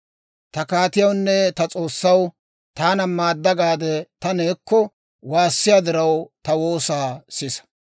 Ta kaatiyawunne ta S'oossaw, Taana maadda gaade ta neekko waassiyiyaa diraw, ta woosaa sisa.